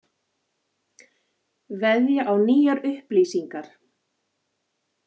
Veðja á nýjar upplýsingar